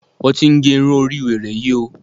Wọ́n ti ge irun orí wèrè yí o!